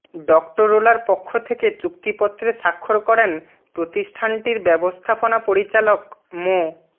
ডক্টরোলার পক্ষ থেকে চুক্তিপত্রে স্বাক্ষর করেন প্রতিষ্ঠানটির ব্যবস্থাপনা পরিচালক মো